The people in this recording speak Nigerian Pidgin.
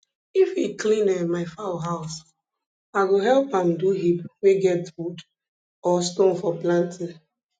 if e clean um my fowl house i go help am do heap wey get wood or stone for planting